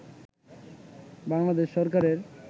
বাংলাদেশ সরকারের